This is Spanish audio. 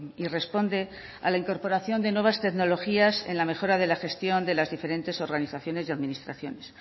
y responde a la incorporación de nuevas tecnologías en la mejora de la gestión de las diferentes organizaciones y administraciones